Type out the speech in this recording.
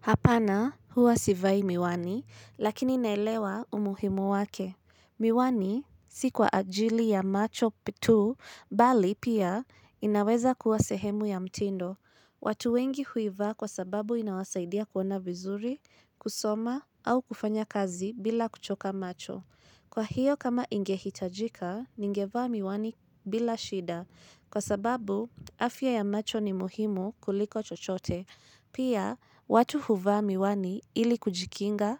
Hapana huwa sivai miwani, lakini naelewa umuhimu wake. Miwani si kwa ajili ya macho tu, bali pia inaweza kuwa sehemu ya mtindo. Watu wengi huivaa kwa sababu inawasaidia kuona vizuri, kusoma, au kufanya kazi bila kuchoka macho. Kwa hiyo kama ingehitajika, ningevaa miwani bila shida, kwa sababu afya ya macho ni muhimu kuliko chochote. Pia, watu huvaa miwani ili kujikinga